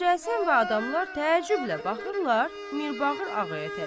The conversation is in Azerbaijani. Hacı Həsən və adamlar təəccüblə baxırlar Mirbağır ağaya tərəf.